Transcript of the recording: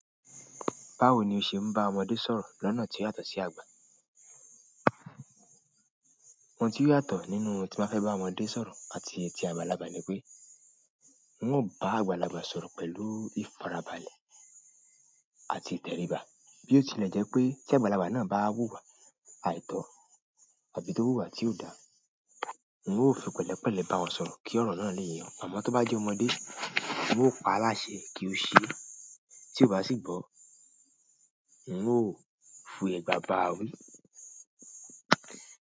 Báwo ni o ṣe ń bá ọmọdé sọ̀rọ̀ lọ́nà tí ó yàtọ̀ sí àgbà? Ohun tí ó yàtọ̀ nínú ohun tí mo fẹ́ bá ọmọdé sọ̀rọ̀ àti ti àgbàlagbà ni pé, n ò bá àgbàlagbà sọ̀rọ̀ pẹ̀lú ìfarabalẹ̀ àti ìtẹríba, bí ó tilẹ̀ jẹ́ pé tí àgbàlagbà náà bá wùwà àìtọ́ àbí tó wùwà tí ò dáa, wọn yóò fi pẹ̀lẹ́pẹ̀lẹ́ bá wọn sọ̀rọ̀ kí ọ̀rọ̀ náà lè yọ. Ọmọ tó bá jẹ́ ọmọdé, wọn yóò pa á láṣẹ kí ó ṣe é, tí ó bá sì gbọ́, n yíò fi ẹ̀gbà bà á wí.